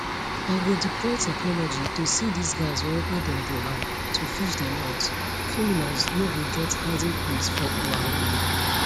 i go deploy technology to see dis guys wherever dem dey hide to fish dem out criminals no go get hiding place for our land